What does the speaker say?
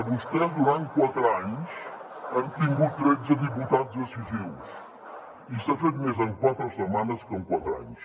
vostès durant quatre anys han tingut tretze diputats decisius i s’ha fet més en quatre setmanes que en quatre anys